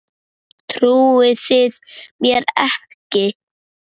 Trúið þið mér ekki?